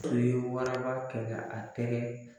U ye waraba kɛlɛ a tɛgɛ